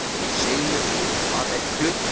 Grátbeðið um hana, ef ég man rétt.